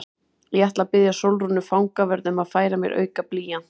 Ég ætla að biðja Sólrúnu fangavörð um að færa mér auka blýant.